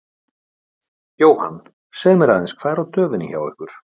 Jóhann: Segðu mér aðeins, hvað er á döfinni hjá ykkur?